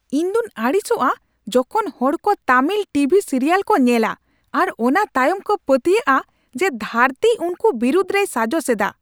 ᱤᱧᱫᱩᱧ ᱟᱹᱲᱤᱥᱚᱜᱼᱟ ᱡᱚᱠᱷᱚᱱ ᱦᱚᱲ ᱠᱚ ᱛᱟᱹᱢᱤᱞ ᱴᱤ ᱵᱷᱤ ᱥᱤᱨᱤᱭᱟᱞ ᱠᱚ ᱧᱮᱞᱼᱟ ᱟᱨ ᱚᱱᱟ ᱛᱟᱭᱚᱢ ᱠᱚ ᱯᱟᱹᱛᱭᱟᱹᱣᱚᱜᱼᱟ ᱡᱮ ᱫᱷᱟᱹᱨᱛᱤ ᱩᱱᱠᱚ ᱵᱤᱨᱩᱫᱷ ᱨᱮᱭ ᱥᱟᱡᱚᱥ ᱮᱫᱟ ᱾